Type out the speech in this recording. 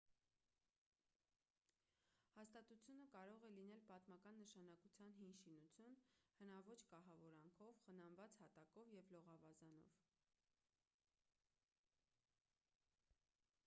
հաստատությունը կարող է լինել պատմական նշանակության հին շինություն հնաոճ կահավորանքով խնամված հատակով և լողավազանով